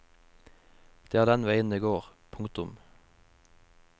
Det er den veien det går. punktum